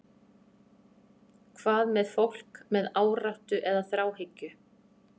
Hvað með fólk með áráttu eða þráhyggju?